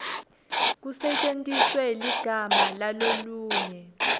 kusetjentiswe ligama lalolunye